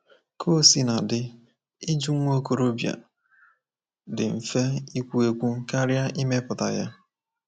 Ka o sina dị, ịjụ nwa okorobịa dị mfe ikwu ekwu karịa ịmepụta ya.